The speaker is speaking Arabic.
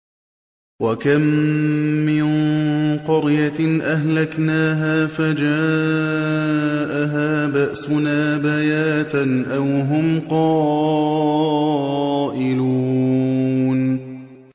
وَكَم مِّن قَرْيَةٍ أَهْلَكْنَاهَا فَجَاءَهَا بَأْسُنَا بَيَاتًا أَوْ هُمْ قَائِلُونَ